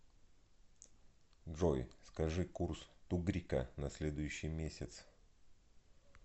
джой скажи курс тугрика на следующий месяц